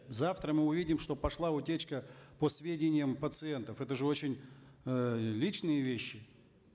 завтра мы увидим что пошла утечка по сведениям пациентов это же очень э личные вещи